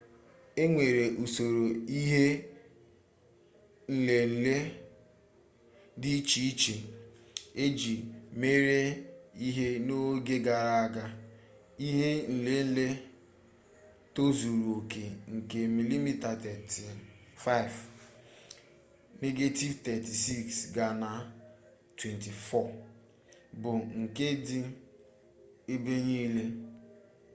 e nwere usoro ihe nlele dị iche iche eji mere ihe n'oge gara aga. ihe nlele tozuru oke nke mm35 negetivu 36 ga na 24 bụ nke dị ebe niile